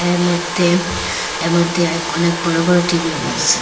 এর মধ্যে এর মধ্যে এক অনেক বড়ো বড়ো টিভিও রয়েসে।